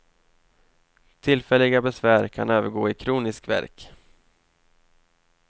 Tillfälliga besvär kan övergå i kronisk värk.